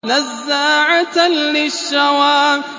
نَزَّاعَةً لِّلشَّوَىٰ